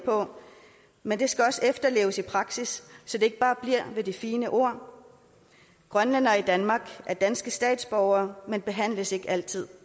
på men det skal også efterleves i praksis så det ikke bare bliver ved de fine ord grønlændere i danmark er danske statsborgere men behandles ikke altid